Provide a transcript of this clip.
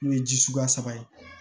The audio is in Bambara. N'o ye ji suguya saba ye